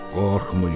Qorxmayın!